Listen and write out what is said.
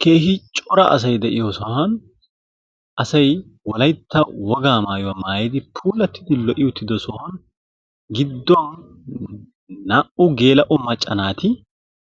Keehi cora asay de'iyoosan asay wolaytta wogaa maayuwa maayidi puulattidi lo"i uttido sohuwan gidduwan laappun geela"o macca naati